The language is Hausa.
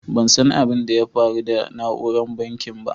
Ban san abin da ya faru da nauran banking ba.